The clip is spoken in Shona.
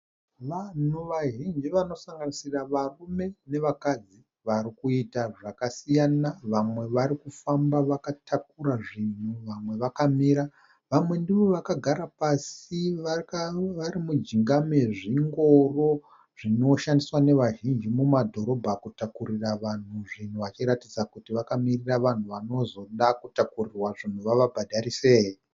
Vanhu vazhinji vanosanganisira varume nevakadzi. Varikuita zvakasiyana, vamwe varikufamba vakatakura zvinhu vamwe vakamira. Vamwe ndivo vakagara pasi varimujinga mezvingoro zvinoshandiswa nevazhinji mumadhorobha kutakurira vanhu zvinhu, vachiratidza kuti vakamirira vanhu vanozoda kutakurirwa zvinhu vavabhadharise.